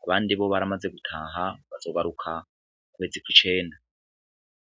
ku bandi bo baramaze gutaha bazobaruka kwezi ko icenda.